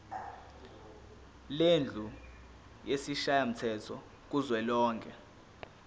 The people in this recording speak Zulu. lendlu yesishayamthetho kuzwelonke